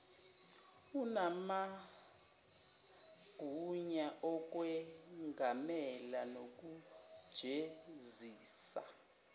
unamagunya okwengamela nokujezisa